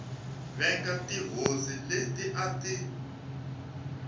venga tihosi leti a ti